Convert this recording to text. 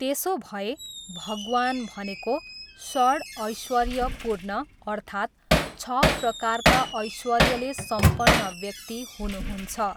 त्यसोभए, भगवान भनेको षड् ऐश्वर्यपूर्णः अर्थात् छ प्रकारका ऐश्वर्यले सम्पन्न व्यक्ति हुनुहुन्छ।